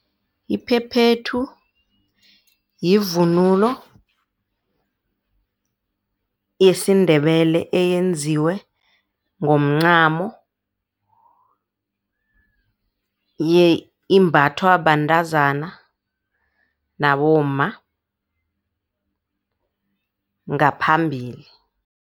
Iphephethu yivunulo yesiNdebele eyenziwe ngomncamo imbathwa bantazana nabomma ngaphambili.